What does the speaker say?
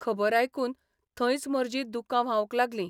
खबर आयकून थंयच म्हर्जी दुकां व्हावंक लागली.